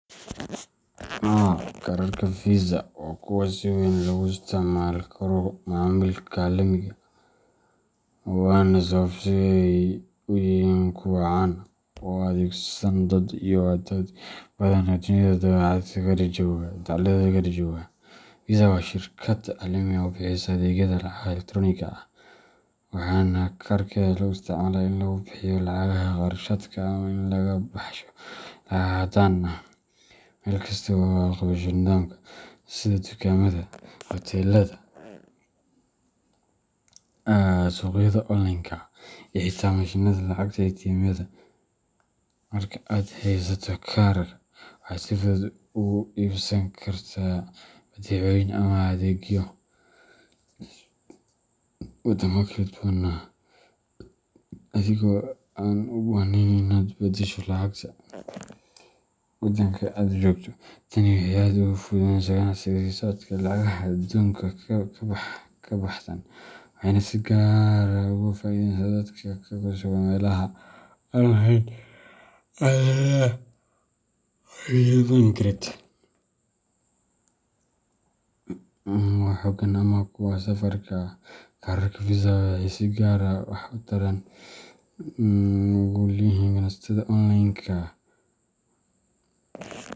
Haa, kaararka Visagaga waa kuwo si weyn loogu isticmaali karo macaamilka caalamiga ah, waana sababta ay u yihiin kuwo caan ah oo ay adeegsadaan dad aad u badan oo dunida dacaladeeda kala jooga. Visagaga waa shirkad caalami ah oo bixisa adeegyada lacagaha elektaroonigga ah, waxaana kaararkeeda lagu isticmaalaa in lagu bixiyo lacagaha kharashaadka ama in laga baxsho lacag caddaan ah meel kasta oo ay aqbasho nidaamka , sida dukaamada, hoteellada, suuqyada onlineka ah, iyo xitaa mashiinnada lacagta ATMyada. Marka aad haysato kaarka , waxaad si fudud ugu iibsan kartaa badeecooyin ama adeegyo waddamo kala duwan ah, adigoo aan u baahnayn in aad badasho lacagta waddanka aad joogto. Tani waxay aad u fududeysay ganacsiga iyo socodka lacagaha ee xuduudaha ka baxsan, waxayna si gaar ah ugu faa’iideysaa dadka ku sugan meelaha aan lahayn adeegyo bangiyeed oo xooggan ama kuwa safarka ah. Kaararka Visagaga waxay si gaar ah waxtar ugu leeyihiin ganacsatada onlineka.